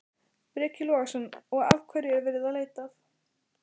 Breki Logason: Og, og hverju er verið að leita að?